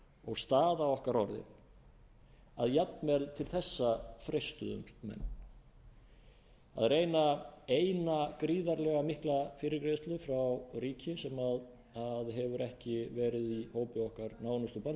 og staða okkar orðin að jafnvel til þessa freistuðust menn að reyna eina gríðarlega mikla fyrirgreiðslu frá ríki sem hefur ekki verið í hópi